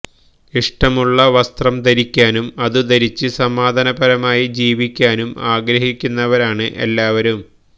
ഇഷ്ടമുള്ള വസ്ത്രം ധരിക്കാനും അതു ധരിച്ച് സമാധാനപരമായി ജീവിക്കാനും ആഗ്രഹിക്കുന്നവരാണ് എല്ലാവരും